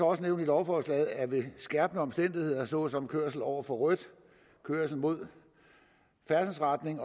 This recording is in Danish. også nævnt i lovforslaget at det ved skærpende omstændigheder såsom kørsel over for rødt kørsel mod færdselsretningen